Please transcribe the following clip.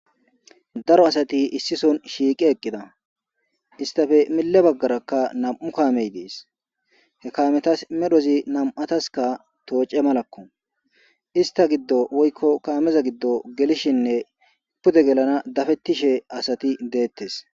Daro asati issison shiiqi eqqida istafe mille baggarakka nam'u kaamey dees he kaametas medhozi nam'ataska tooce malakko ista giddo woykko kaameza giddo gelishinne pute gelana dafettishe asati deettes.